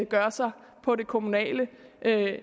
gør sig på det kommunale